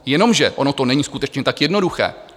Jenomže ono to není skutečně tak jednoduché.